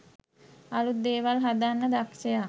අලුත් දේවල් හදන්න දක්ෂයා